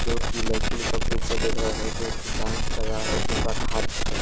जो कि लड़की लोग का ग्रुप को देख रहा है जो कि डांस कर रहा है एक दूसरा का हाँथ पकड़--